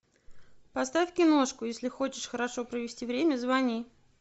поставь киношку если хочешь хорошо провести время звони